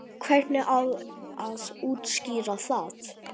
Hvernig á að útskýra það?